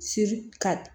Si ka